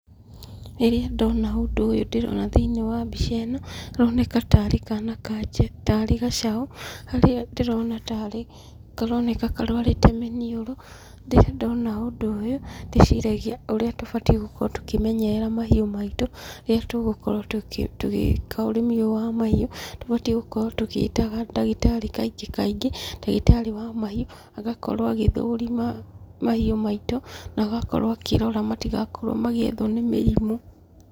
Rĩrĩa ndona ũndũ ũyũ ndĩrona thĩiniĩ wa mbica ĩno, karoneka tarĩ kana ka tarĩ gacaũ, harĩa ndĩrona tarĩ karoneka karũarĩte mĩniũrũ, ndirĩ ndona ũndũ ũyũ, ndĩciragia ũrĩa tũbatie gũkorwo tũkĩmenyerera mahiũ maitũ, rĩrĩa tũgũkorwo tũgĩka ũrĩmi ũyũ wa mahiũ, tũbatie gũkorwo tũgĩta ndagĩtarĩ kaingĩ kaingĩ, ndagĩtarĩ wa mahiũ agakorwo agĩthũrima mahiũ maitũ, na agakorwo akĩrora matigakorwo magĩethwo nĩ mĩrimũ.